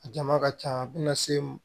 A jama ka ca a bɛna se